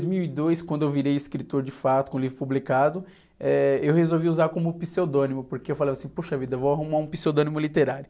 Dois mil e dois, quando eu virei escritor de fato, com o livro publicado, eh, eu resolvi usar como pseudônimo, porque eu falava assim, poxa vida, vou arrumar um pseudônimo literário.